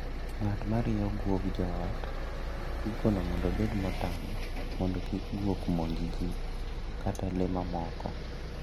Ng'at marieyo guo joot ikono mondo obet motang' mondo kik guok monj jii kata lee mamoko.